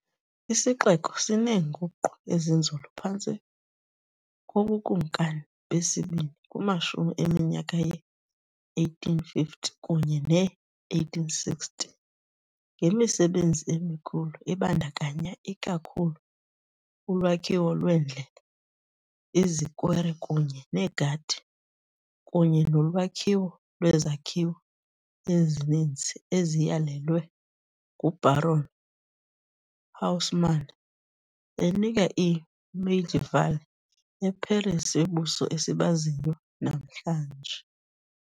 Isixeko sineenguqu ezinzulu phantsi kobukumkani besibini kumashumi eminyaka ye-1850 kunye ne-1860 ngemisebenzi emikhulu ebandakanya ikakhulu ulwakhiwo lweendlela, izikwere kunye negadi kunye nolwakhiwo lwezakhiwo ezininzi, eziyalelwe nguBaron Haussmann, enika I-medieval eParis yobuso esibaziyo namhlanje.